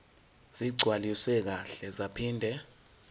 ezigcwaliswe kahle zaphinde